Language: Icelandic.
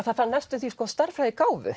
það þarf næstum því